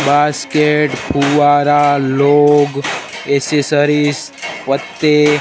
basket फुव्वारा लोग accessories पत्ते--